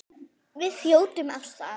Við þjótum af stað.